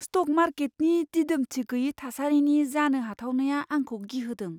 Stock मार्केटनि दिदोमथि गोयि थासारिनि जानो हाथावनाया आंखौ गिहोदों।